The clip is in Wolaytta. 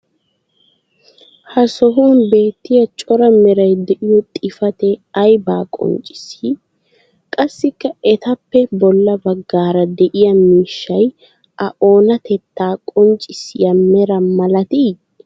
ha sohuwan beettiya cora meray diyo xifatee aybaa qonccissii? qassikka etappe bola bagaara de'iya miishshay o oonatettaa qonccissiya mera malatii?